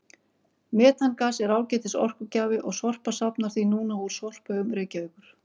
Metangas er ágætis orkugjafi og Sorpa safnar því núna úr sorphaugum Reykjavíkur.